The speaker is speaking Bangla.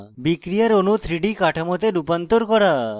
বিক্রিয়ার অণু 3d কাঠামোতে রূপান্তর করা